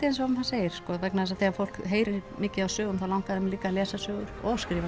eins og maður segir sko vegna þess að þegar fólk heyrir mikið af sögum þá langar það líka að lesa sögur og skrifa